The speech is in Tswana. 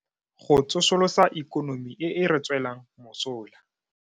Go tsosolosa ikonomi e e re tswelang mosola.